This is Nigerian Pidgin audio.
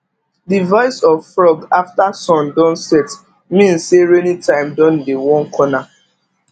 the voice of frog after sun don set mean say rainy time don dey one corner